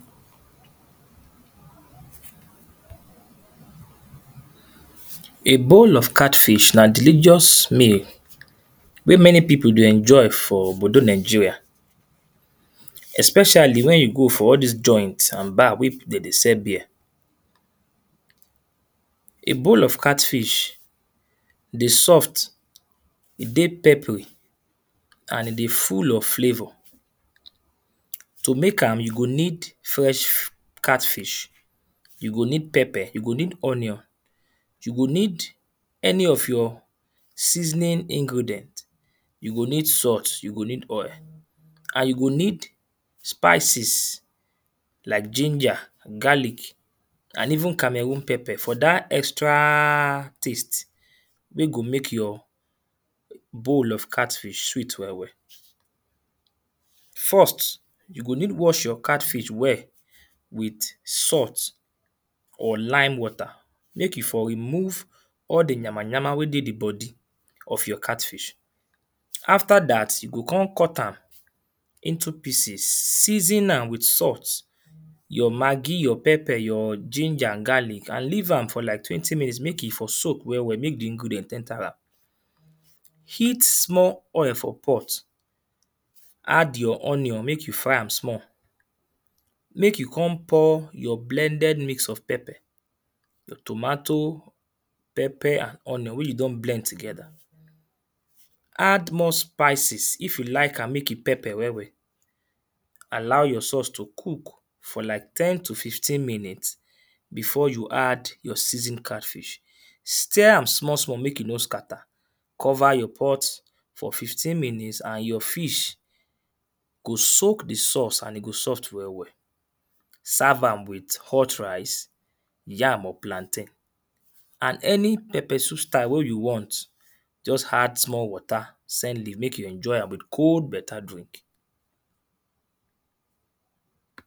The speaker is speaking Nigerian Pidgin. A bowl of catfish na delicious meal wey many people dey enjoy for obodo Nigeria. Especially when you go for all dis joint and bar wey people dey sell beer. A bowl of cat fish dey soft, e dey pepperish and e dey full of flavour. To make am, you go need fresh catfish, you go need pepper, you go need onion you go need any of your seasoning ingredient, you go need salt, you go need oil and you go need spices like ginger, garlic and even cameroon pepper for dat extra taste wey go make your bowl of catfish sweet well well. First, you go need wash your catfish well with salt or lime water. Make e for remove all the yamayama wey dey the body of your cat fish. After dat you go con cut am into pieces. Season am with salt, your maggie, your pepper, your ginger and garlic. And leave am for like twenty minutes make e for soak well well. Make the ingredient enter am, Heat small oil for pot, add your onion make you fry am small. Make you con pour your blended mix of pepper, your tomato, pepper and onion wey you don blend together, Add more spices if you like am make e pepper well well. Allow your saurce to cook for like ten to fifteen minute before you add your season catfish. Steer am small small make e no scatter. Cover you pot for fifteen minutes and your fish go soak the saurce and e go soft well well. Serve am with hot rice, yam or plantain and any pepper soup style wey you want, just add small water, saint leaf make you enjoy am with cold better drink.